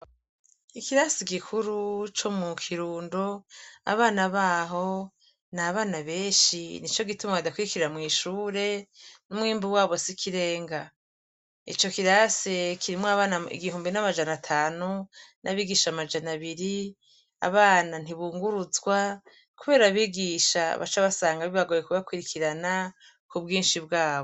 Ikirasi gikuru co mukirundo abana baho nabana benshi nico gituma badakwirikira mw'ishure numwimbu wabo sikirega, ico kirasi kirimwo abana igihumbi namajana atanu, n'abigisha amajana abiri, abana ntibuguruzwa kubera abigisha baca basanga bibagoye kubakwirikirana kubwishi bwabo.